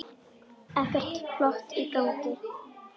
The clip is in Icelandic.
Ekkert plott í gangi.